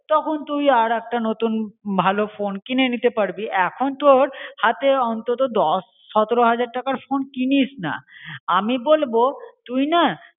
তখন তুই আর একটা নতুন ভালো ফোন কিনে নিতে পারবি. এখন তোর হাতে দশ সতেরো হাজার টাকার ফোন কিনিস না. আমি বলব তুই না